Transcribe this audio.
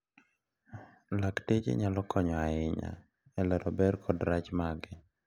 Lakteche nyalo konyo ahinya e lero ber kod rach mage.